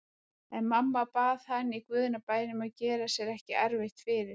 En mamma bað hann í guðanna bænum að gera sér ekki erfitt fyrir.